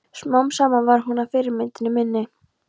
Smám saman varð hún að fyrirmyndinni minni.